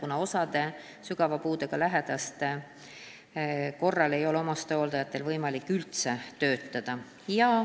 Osal omastehooldajatel, kes hooldavad sügava puudega lähedast, ei ole ju võimalik üldse töötada.